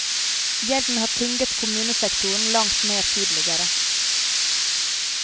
Gjelden har tynget kommunesektoren langt mer tidligere.